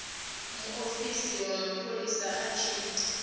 muofisi wa mapholisa a tshi